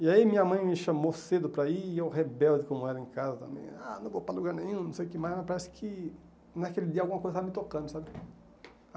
E aí minha mãe me chamou cedo para ir, e eu, rebelde como era em casa, também, ah, não vou para lugar nenhum, não sei o que mais, mas parece que naquele dia alguma coisa estava me tocando, sabe?